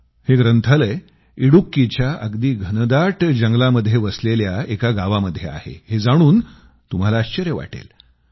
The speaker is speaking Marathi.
हे ग्रंथालय इडुक्कीच्या अगदी घनदाट जंगलामध्ये वसलेल्या एका गावामध्ये आहे हे जाणून तुम्हाला आश्चर्य वाटेल